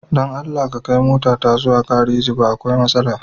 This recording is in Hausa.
Da Allah ka kai motata zuwa gareji ba akwai matsala.